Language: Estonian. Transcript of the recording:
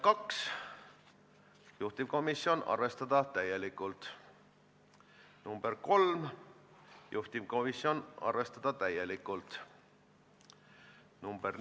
Sisuliselt tähendab see ka reisiteabe- ja broneerimissüsteemi kooskõlla viimist Euroopa Komisjoni määrusega, mis on tehniline probleem.